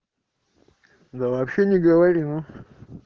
да вообще не говорила